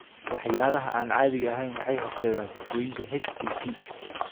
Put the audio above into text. Waxyaalaha aan caadiga ahayn waxay horseedaan sifooyinka HPP.